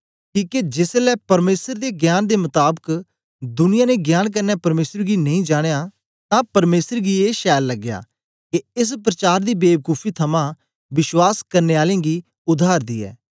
किके जेसलै परमेसर दे ज्ञान दे मताबक दुनिया ने ज्ञान कन्ने परमेसर गी नेई जानयां तां परमेसर गी ए छैल लगया के एस प्रचार दी बेबकूफी थमां विश्वास करने आलें गी उद्धार दियै